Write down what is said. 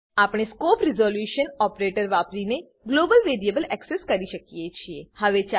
આપણે વાપરીને global variable access કરી શકીએ છીએ